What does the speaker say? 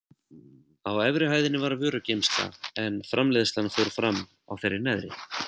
Á efri hæðinni var vörugeymsla en framleiðslan fór fram á þeirri neðri.